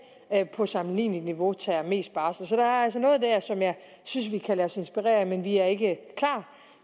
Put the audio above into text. på et sammenligneligt niveau tager mest barsel så der er altså noget der som jeg synes vi kan lade os inspirere af men vi er endnu ikke klar